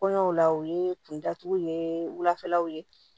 Kɔɲɔw la u ye kun datugu ye wulafɛlaw ye